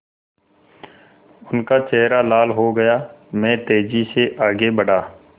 उनका चेहरा लाल हो गया मैं तेज़ी से आगे बढ़ा